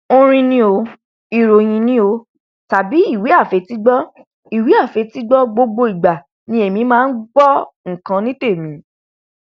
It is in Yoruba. orin ni o ìròhìn ní o tàbí ìwé àfetígbọ ìwé àfetígbọ gbogbo ìgbà ni èmi máa ngbọ nkan ní tèmi